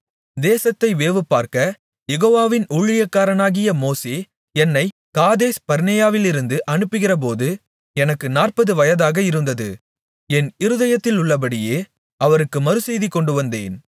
தேசத்தை வேவுபார்க்கக் யெகோவாவின் ஊழியக்காரனாகிய மோசே என்னைக் காதேஸ்பர்னேயாவிலிருந்து அனுப்புகிறபோது எனக்கு 40 வயதாக இருந்தது என் இருதயத்திலுள்ளபடியே அவருக்கு மறுசெய்தி கொண்டுவந்தேன்